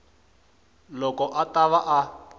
loko a ta va a